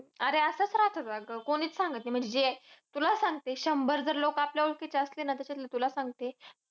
अरे असंच राहतं अगं. कोणीच सांगत नाही. म्हणजे जे, तुला सांगते शंभर जर लोकं आपल्याला ओळखीचे असले ना. त्याताचातले तुला सांगते